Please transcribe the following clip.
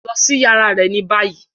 Lọ si yàrá rẹ ni bayi!